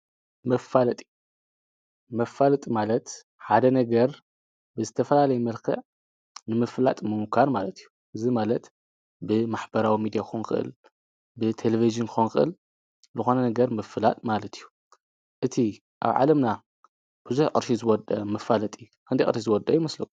ፋጢመፋለጥ ማለት ሓደ ነገር ብዝተፈላለይ መርክዕ ንምፍላጥ ምኑካን ማለት እዩ እዝ ማለት ብማኅበራዊ ሚዲያ ኾንቅል ብቴሌብዝን ኾንቅል ልኾነ ነገር ምፍላጥ ማለት እዩ እቲ ኣብ ዓለምና ብዙኅ ቕርሽ ዝወደ ምፋለጢ እንዲ ቕርሒ ዝወደ ኣይምስል